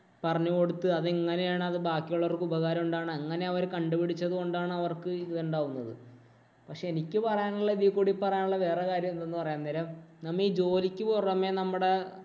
പറഞ്ഞുകൊടുത്തു അത് എങ്ങനെയാണ് ബാക്കിയുള്ളവർക്ക് ഉപകാരം ഉണ്ടാകുന്നത്. അങ്ങനെ അവര്‍ കണ്ടുപിടിച്ചതു കൊണ്ടാണ് അവർക്കിത് ഉണ്ടാകുന്നത്. പക്ഷേ എനിക്ക് പറയാനുള്ളത് ഇതീ കൂടി പറയാനുള്ളത് വേറെ ഒരു കാര്യം എന്താന്ന് പറയാൻ നേരം. നമ്മ ഈ ജോലിക്ക് പുറമേ നമ്മുടെ